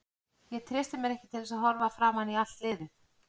Ég treysti mér ekki til að horfa framan í allt liðið.